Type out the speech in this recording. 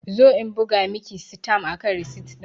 Zo in buga Miki sitam akan risit din!